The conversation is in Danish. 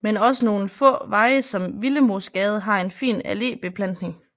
Men også nogle få veje som Willemoesgade har en fin allébeplantning